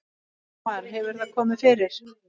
Ingimar: Hefur það komið fyrir?